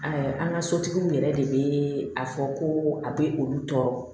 an ka sotigiw yɛrɛ de bɛ a fɔ ko a bɛ olu tɔɔrɔ